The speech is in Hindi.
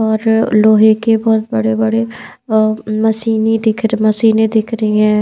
और लोहे के बहुत बड़े-बड़े अ मशीनी दिख मशीनें दिख रही हैं।